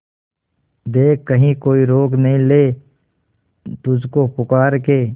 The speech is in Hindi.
देख कहीं कोई रोक नहीं ले तुझको पुकार के